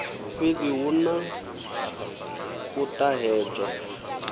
fhedzi hu na u ṱahedzwa